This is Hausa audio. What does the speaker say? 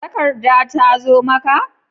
Takarda ta zo maka?